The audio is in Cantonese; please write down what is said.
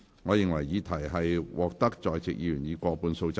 我認為議題獲得在席議員以過半數贊成。